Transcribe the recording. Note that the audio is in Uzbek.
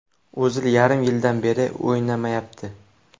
O‘zil yarim yildan beri o‘ynamayapti.